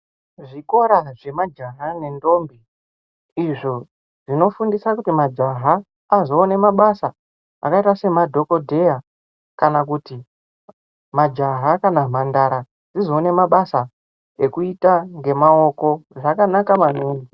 Zvikora zvemajaha nendombi izvo zvinofundisa kuti majaha azovane mabasa akaita semadhogodheya. Kana kuti majaha kana mhandara dzizoone mabasa ekuita ngemaoko zvakanaka maningi.